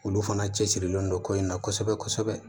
Olu fana cɛsirilen don ko in na kosɛbɛ kosɛbɛ